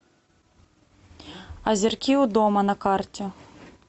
озерки у дома на карте